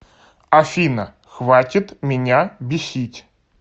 афина хватит меня бесить